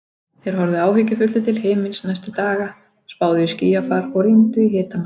Þeir horfðu áhyggjufullir til himins næstu daga, spáðu í skýjafar og rýndu í hitamæla.